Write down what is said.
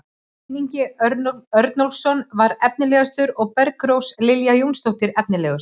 Hreinn Ingi Örnólfsson var efnilegastur og Bergrós Lilja Jónsdóttir efnilegust.